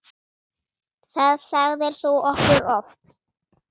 Það sagðir þú okkur oft.